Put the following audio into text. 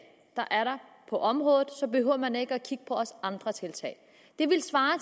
på området så behøver man ikke også at kigge på andre tiltag